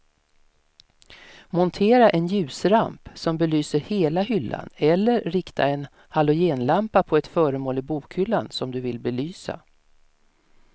Montera en ljusramp som belyser hela hyllan eller rikta en halogenlampa på ett föremål i bokhyllan som du vill belysa.